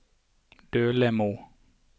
Dølemo